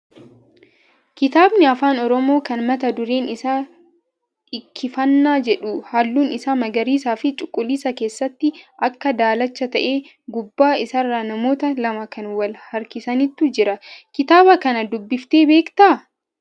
Kitaabni afaan oromoo kan mata dureen isaa Dhikkifannaa jedhu halluun isaa magariisaa fi cuquliisa keessatti akka daalachaa ta'ee, gubbaa isaarra namoota lama kan wal harkisantu jiru. Kitaaba kana dubbiftee beektaa?